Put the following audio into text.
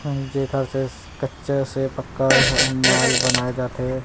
हम्म जेकर से कच्चा से पक्का ह ह माल बनाये जाथे।